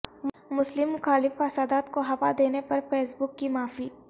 مسلم مخالف فسادات کو ہوا دینے پر فیس بک کی معافی